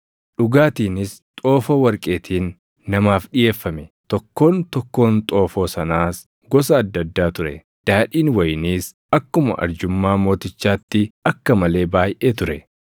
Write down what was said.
Dhugaatiinis xoofoo warqeetiin namaaf dhiʼeeffame. Tokkoon tokkoon xoofoo sanaas gosa adda addaa ture; daadhiin wayiniis akkuma arjummaa mootichaatti akka malee baayʼee ture.